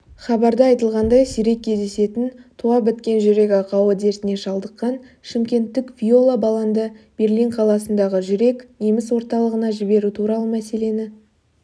хабарда айтылғандай сирек кездесетін туа біткен жүрек ақауы дертіне шалдыққан шымкенттік виола баланды берлин қаласындағы жүрек неміс орталығына жіберу туралы мәселені